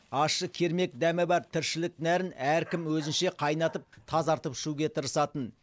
ащы кермек дәмі бар тіршілік нәрін әркім өзінше қайнатып тазартып ішуге тырысатын